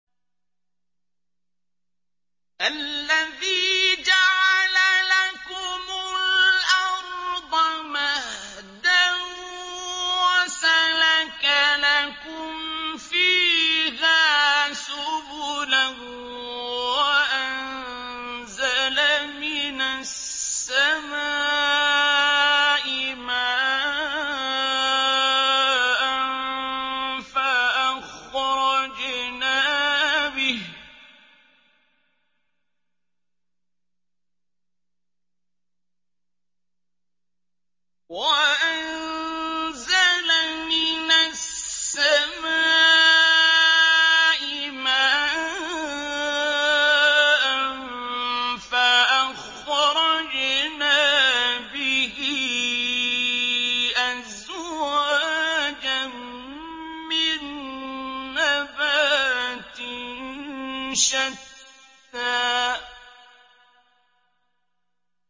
الَّذِي جَعَلَ لَكُمُ الْأَرْضَ مَهْدًا وَسَلَكَ لَكُمْ فِيهَا سُبُلًا وَأَنزَلَ مِنَ السَّمَاءِ مَاءً فَأَخْرَجْنَا بِهِ أَزْوَاجًا مِّن نَّبَاتٍ شَتَّىٰ